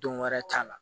Don wɛrɛ t'a la